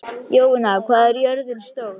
Jovina, hvað er jörðin stór?